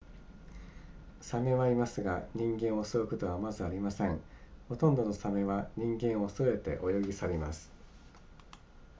鮫はいますが人間を襲うことはまずありませんほとんどの鮫は人間を恐れて泳ぎ去ります